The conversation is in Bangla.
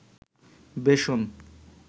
বেসন